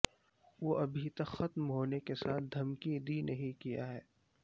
وہ ابھی تک ختم ہونے کے ساتھ دھمکی دی نہیں کیا ہے